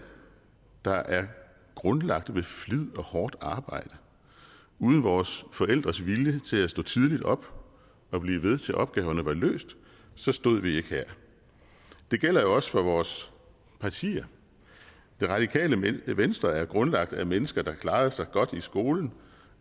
der er grundlagt ved flid og hårdt arbejde uden vores forældres vilje til at stå tidligt op og blive ved til opgaverne var løst så stod vi ikke her det gælder jo også for vores partier det radikale venstre er grundlagt af mennesker der klarede sig godt i skolen